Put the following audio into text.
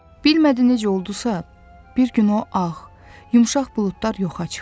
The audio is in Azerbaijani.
Bilmədi necə oldusa, bir gün o ağ, yumşaq buludlar yoxa çıxdı.